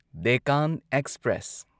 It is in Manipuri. ꯗꯦꯛꯀꯥꯟ ꯑꯦꯛꯁꯄ꯭ꯔꯦꯁ